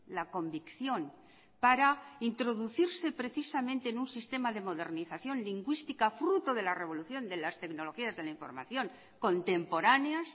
la convicción para introducirse precisamente en un sistema de modernización lingüística fruto de la revolución de las tecnologías de la información contemporáneas